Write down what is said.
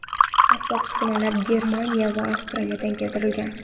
Asbob-uskunalar Germaniya va Avstriyadan keltirilgan.